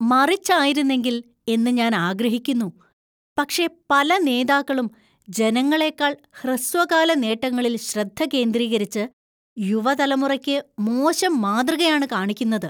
മറിച്ചായിരുന്നെങ്കിൽ എന്ന് ഞാൻ ആഗ്രഹിക്കുന്നു, പക്ഷേ പല നേതാക്കളും ജനങ്ങളേക്കാൾ ഹ്രസ്വകാല നേട്ടങ്ങളിൽ ശ്രദ്ധ കേന്ദ്രീകരിച്ച് യുവതലമുറയ്ക്ക് മോശം മാതൃകയാണ് കാണിക്കുന്നത്.